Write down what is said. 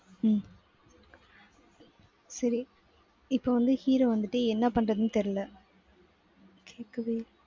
உம் சரி இப்ப வந்து hero வந்துட்டு என்ன பண்றதுன்னு தெரியல கேக்கவே~